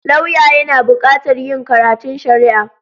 Lauya yana buƙatar yin karatun Shari'a.